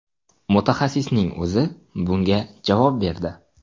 Mutaxassisning o‘zi bunga javob berdi.